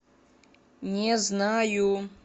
не знаю